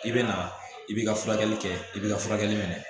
I bɛ na i b'i ka furakɛli kɛ i b'i ka furakɛli minɛ